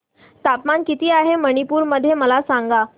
तापमान किती आहे मणिपुर मध्ये मला सांगा